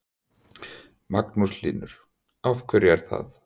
Magnús Hlynur: Af hverju er það?